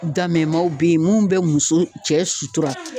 Damemaw be yen mun be muso cɛ sutura.